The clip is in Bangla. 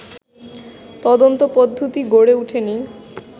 তদন্তপদ্ধতি গড়ে ওঠেনি